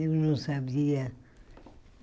Eu não sabia.